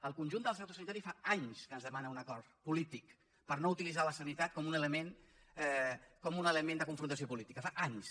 el conjunt del sector sanitari fa anys que ens demana un acord polític per no utilitzar la sanitat com un element de confrontació política fa anys